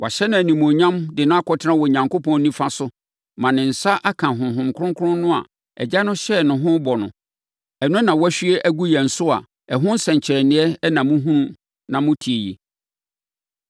Wɔahyɛ no animuonyam de no akɔtena Onyankopɔn nifa so ma ne nsa aka Honhom Kronkron no a Agya no hyɛɛ no ɛho bɔ no; ɛno na wahwie agu yɛn so a ɛho nsɛnkyerɛnneɛ na mohunu na mote yi.